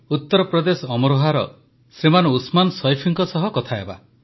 ଉତ୍ତରପ୍ରଦେଶ ଅମରୋହାର ଶ୍ରୀମାନ ଉସମାନ ସୈଫିଙ୍କ ସହ କଥାହେବା